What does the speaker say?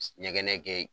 Ɲɛgɛn kɛ